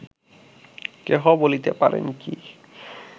কেহ বলিতে পারেন কি